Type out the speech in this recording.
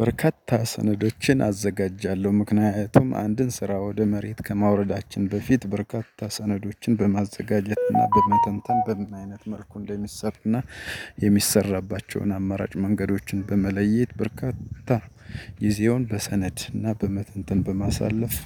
በርካታ ሰነዶችን አዘጋጃለሁ ምክንያቱም አንድን ስራ ወደ መሬት ከማውረዳችን በፊት በርካታ ሰነዶችን በማዘጋጀት እና በመተንተን በምን አይነት መልኩ እንደሚሰሩ እና የሚሰራባቸውን አማራጭ መንገዶችን በመለየት በርካታ ጊዜውን በሰነድ እና በመተንተን በማሳለፍ